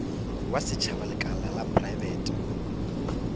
wa setšhaba lekala la praebete